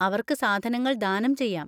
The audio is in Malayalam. അവർക്ക് സാധനങ്ങൾ ദാനം ചെയ്യാം.